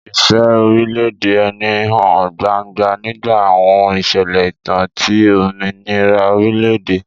Ìfẹ́ orílẹ̀-èdè ẹni hàn gbangba nígbà àwọn ìṣẹ̀lẹ̀ ìtàn ti òmìnira orílẹ̀-èdè.